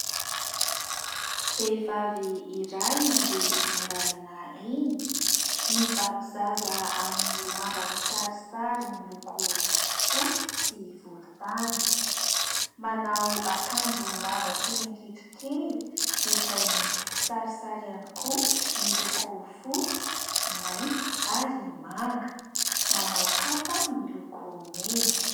Vehivavy iray mandeha eny an-dàlana eny. Mibaby zaza amin'ny lamba kisarisary miloko fotsy sy volontany. Manao akanjo lava hatreny hakitrokely izay misy kisarisary ihany koa ; miloko fotsy, mainty ary manga. Manao kapa miloko mena.